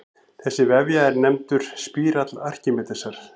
Þessi vefja er nefndur spírall Arkímedesar.